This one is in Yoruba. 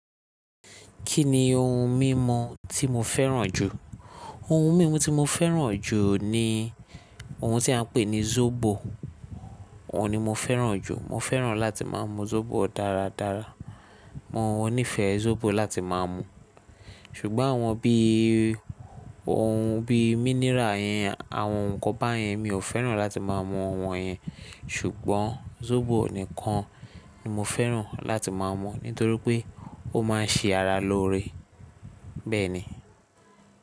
Kí ni ohun mímu tí mo fẹ́ràn jù? Ohun mímu tí mo fẹ́ràn jù ni ohun tí a ń pè ní zobò. Òun ni mo fẹ́ràn jù. Mo fẹ́ràn láti máa mú zóbò dáradára. Mo nífẹ̀ẹ́ sóbò láti máa mú. Ṣùgbọ́n àwọn bí i ohun bí i mínírà yẹn, àwọn ǹkan báyẹn mi ò fẹ́ràn láti máa mú àwọn yẹn. Ṣùgbọ́n zóbò nìkan ni mo fẹ́ràn láti máa mú nítorí pé ó máa ń ṣe ara lóore. Bẹ́ẹ̀ ni.